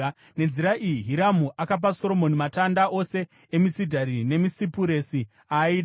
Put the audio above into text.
Nenzira iyi Hiramu akapa Soromoni matanda ose emisidhari nemisipuresi aaida,